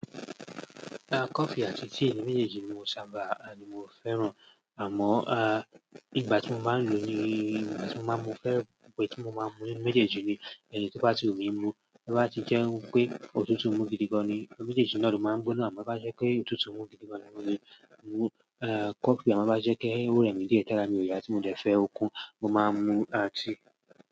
Ah, coffee àti tea méjèèjì ni mo sábà ni mo fẹ́ràn. Àmọ́ ah, ìgbà tí mo máa ń lo ni ìgbà tí mo máa ń mú fẹ́rẹ̀ bẹ tí mo máa ń mú méjèèjì ni, ẹni tí bá ti ò mí mú, bá ti jẹ́ pé òtútù mú gidi gan ni, méjèèjì náà ló máa ń gbóná. To ba je pe òtútù mu gidi gan ni, mo le mu kofi a máa to bá jẹ́ pé ó rẹmi díẹ̀, ti ara mi ò ya ti mo dẹ̀ fẹ́ okun, mo máa ń mu ah tea.